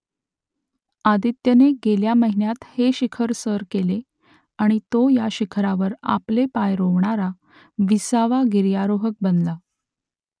आदित्यने गेल्या महिन्यात हे शिखर सर केले आणि तो या शिखरावर आपले पाय रोवणारा विसावा गिर्यारोहक बनला